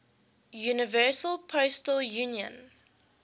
universal postal union